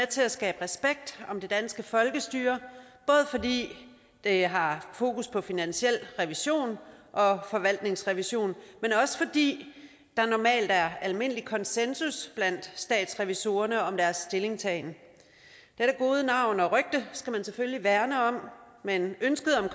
til at skabe respekt om det danske folkestyre både fordi det har fokus på finansiel revision og forvaltningsrevision men også fordi der normalt er almindelig konsensus blandt statsrevisorerne om deres stillingtagen dette gode navn og rygte skal man selvfølgelig værne om men ønsket om